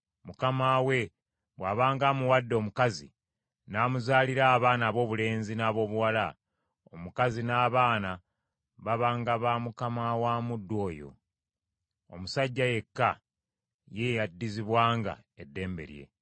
Mukama we bw’abanga amuwadde omukazi, n’amuzaalira abaana aboobulenzi n’aboobuwala; omukazi n’abaana babanga ba mukama wa muddu oyo; omusajja yekka ye yaddizibwanga eddembe lye.